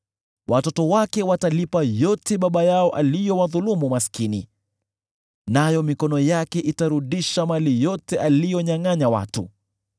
Watoto wake watalipa yote baba yao aliyowadhulumu maskini, nayo mikono yake itarudisha mali yote aliyonyangʼanya watu.